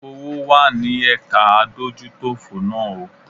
Owó wá ní ẹ̀ka adójútòfò náà o.